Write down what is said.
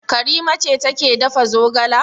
Karima ce take dafa zogala.